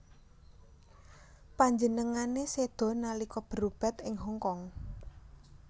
Panjenengané séda nalika berobat ing Hong Kong